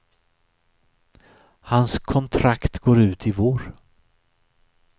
Hans kontrakt går ut i vår.